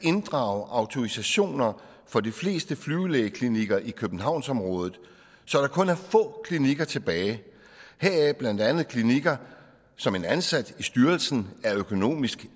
at inddrage autorisationer for de fleste flyvelægeklinikker i københavnsområdet så der kun er få klinikker tilbage heraf blandt andet klinikker som en ansat i styrelsen er økonomisk